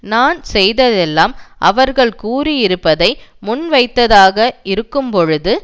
நான் செய்ததெல்லாம் அவர்கள் கூறி இருப்பதை முன்வைத்ததாக இருக்கும் பொழுது